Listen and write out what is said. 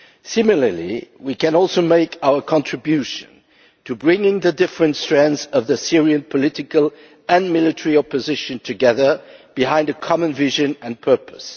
Similarly, we can also make our contribution to bringing the different strands of the Syrian political and military opposition together behind a common vision and purpose.